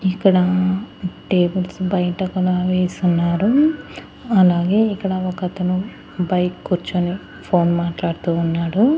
ఇక్కడా టేబుల్స్ బయట ఒకలా వేసున్నారు అలాగే ఇక్కడ ఒకతను బైక్ కూర్చుని ఫోన్ మాట్లాడుతూ ఉన్నాడు.